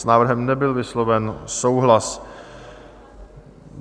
S návrhem nebyl vysloven souhlas.